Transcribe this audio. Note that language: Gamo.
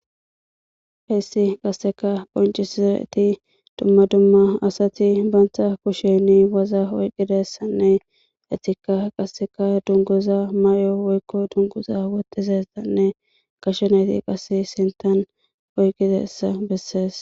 hessi qasseka qoncisizeti dumma dumma asati bantha kusheni waza oyqidessanne etika qasseka dunguza may7o woykko dungguza wotizessanne gashenayti qase sintan oyqqidessa bessees.